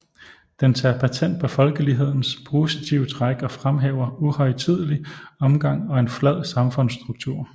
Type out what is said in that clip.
Den tager patent på folkelighedens positive træk og fremhæver uhøjtidelig omgang og en flad samfundsstruktur